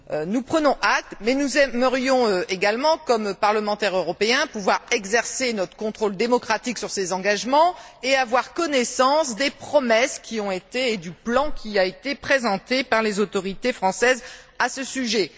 Nous prenons acte mais nous aimerions également, comme parlementaires européens, pouvoir exercer notre contrôle sur ces engagements et avoir connaissance des promesses et du plan qui ont été présentés par les autorités françaises à ce sujet.